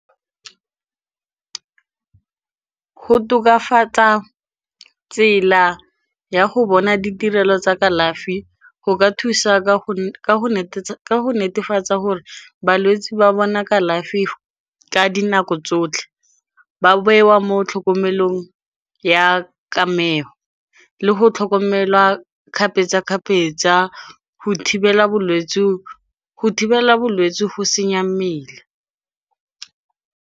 Go tokafatsa tsela ya go bona ditirelo tsa kalafi, go ka thusa ka go netefatsa gore balwetsi ba bona kalafi ka dinako tsotlhe. Ba bewa mo tlhokomelong ya kamego, le go tlhokomelwa kgapetsa-kgapetsa go thibela bolwetsi go senya mmele.